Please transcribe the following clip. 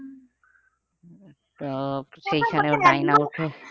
তো